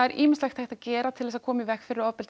ýmislegt hægt að gera til að koma í veg fyrir ofbeldi